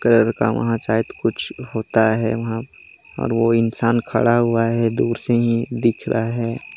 Colour का वहाँ शायद कुछ होता है वहाँ और वो इंसान खड़ा हुआ है दूर से ही दिख रहा है।